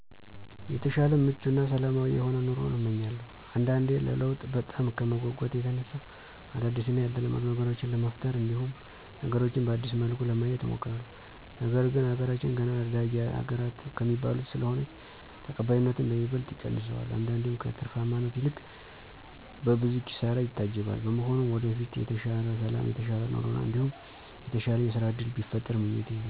የተሻለ ምቹ እና ሰላማዊ የሆነ ኑሮን እመኛለሁ። አንዳንዴ ለለውጥ በጣም ከመጎጎት የተነሳ አዳዲስ እና ያልተለመዱ ነገሮችን ለመፍጠር እንዲሁም ነገሮችን በአዲስ መልኩ ለማየት እሞክራለሁ፤ ነገር ግን አገራችን ገና አዳጊ አገራተ ከሚባሉት ስለሆነች ተቀባይነቱን በይበልጥ ይቀንሰዋል አንዳንዴም ከትርፋማነት ይልቅ በብዙ ኪሳራ ይታጀባል። በመሆኑም ወደፊት የተሻለ ሠላም የተሻለ ኑሮ እንዲሁም የተሻለ የስራ እድል ቢፈጠር ምኞቴ ነው።